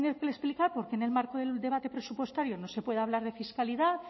tiene que explicar por qué en el marco del debate presupuestario no se puede hablar de fiscalidad